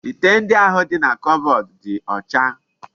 Ite ndi ahu di na kobodu di ocha